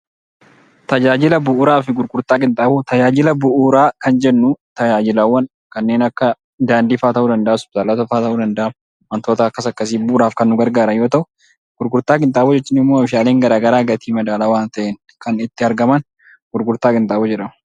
Tajaajila bu'uuraafi gurgurtaa qinxaaboo, tajaajila bu'uuraa kan jennu tajaajilawwan kanneen akka daandiifaa ta'uu danda'a. Hospitaala ta'uu danda'aa wantoota akkas akkasii bu'uuraaf kan nu garagaaran yoo ta'u, gurgurtaa qinxaaboo jechuunimmoo oomishaaleen garagaraa gatii madaalawwaa ta'een kan itti argaman gurgurtaa qinxaaboo jedhamu.